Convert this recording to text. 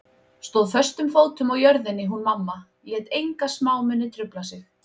Stóð föstum fótum á jörðinni hún mamma, lét enga smámuni trufla sig.